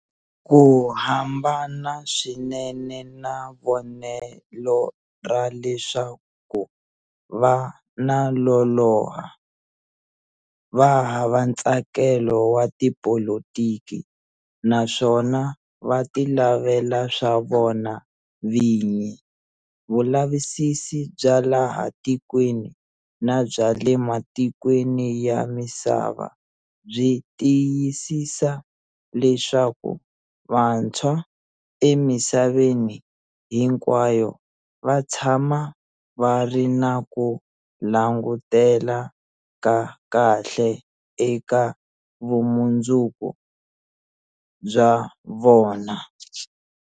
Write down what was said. Ku hambana swinene na vonelo ra leswaku va na loloha, va hava ntsakelo wa tipolitiki naswona va tilavela swa vona vinyi, vulavusisi bya laha ti kweni na bya le matikweni ya misava byi tiyisisa leswaku vantshwa emisaveni hinkwayo va tshama va ri na ku langutela ka kahle eka vumundzuku bya vona.